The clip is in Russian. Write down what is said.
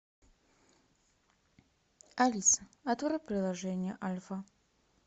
алиса открой приложение альфа